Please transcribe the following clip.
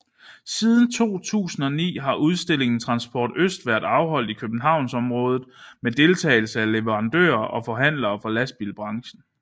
Siden 2009 har udstillingen Transport Øst været afholdt i københavnsområdet med deltagelse af leverandører og forhandlere fra lastbilbranchen